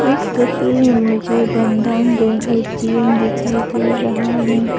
इस तस्वीर में मुझे बंधन बैंक ए_टी_एम दिखाई दे रहा है।